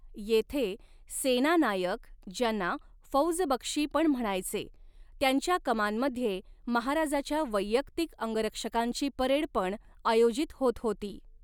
येथे सेना नायक ज्यांना फ़ौज बख्शी पण म्हणायचे त्यांच्या कमान मध्ये महाराजाच्या वैयक्तिक अंगरक्षकांची परेड पण आयोजित होत होती.